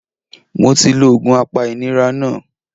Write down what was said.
Mo ti lo òògùn apa ìnira náà